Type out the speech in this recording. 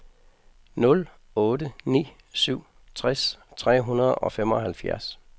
nul otte ni syv tres tre hundrede og femoghalvfjerds